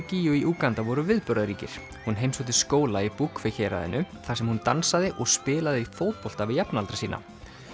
gígju í Úganda voru viðburðaríkir hún heimsótti skóla í héraðinu þar sem hún dansaði og spilaði fótbolta við jafnaldra sína